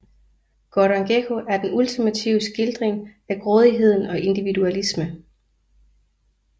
Gordon Gekko er den ultimative skildring af grådigheden og individualisme